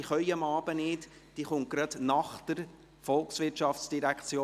sie können am Abend nicht, sie kommt gerade nach der VOL.